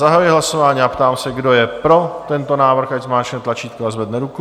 Zahajuji hlasování a ptám se, kdo je pro tento návrh, ať zmáčkne tlačítko a zvedne ruku.